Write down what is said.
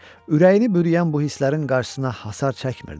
Ürəyini bürüyən bu hisslərin qarşısına hasar çəkmirdi.